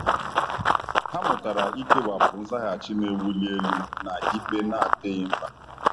Ha mụtara ikewapụ nzaghachi na-ewuli elu na ikpe na-adịghị mkpa.